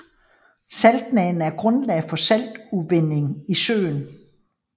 Saltlagene er grundlag for saltudvinding i søen